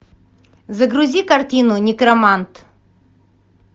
загрузи картину некромант